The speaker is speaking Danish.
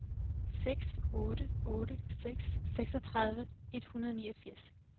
seks otte otte seks seksogtredive et hundrede og niogfirs